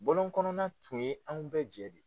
Bɔlɔn kɔnɔna tun ye anw bɛɛ jɛ de ye.